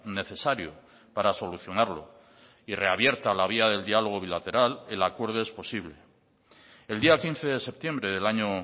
necesario para solucionarlo y reabierta la vía del diálogo bilateral el acuerdo es posible el día quince de septiembre del año